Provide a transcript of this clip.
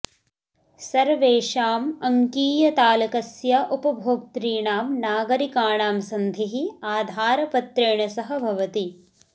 सर्वेषाम् अङ्कीयतालकस्य उपभोक्तॄणां नागरिकाणां सन्धिः आधारपत्रेण सह भवति